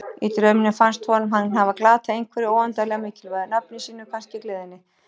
Í draumnum fannst honum hann hafa glatað einhverju óendanlega mikilvægu, nafni sínu kannski, gleðinni.